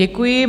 Děkuji.